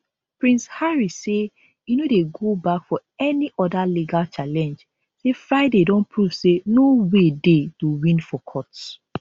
prince harry say e no dey go back for any oda legal challenge say friday don prove say no way dey to win for courts